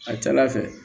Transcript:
A ka ca ala fɛ